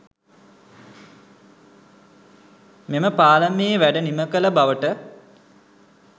මෙම පාලමේ වැඩ නිමකළ බවට